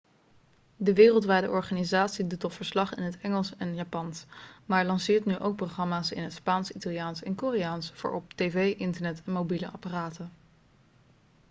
de wereldwijde organisatie doet al verslag in engels en japans maar lanceert nu ook programma's in het spaans italiaans en koreaans voor op tv internet en mobiele apparaten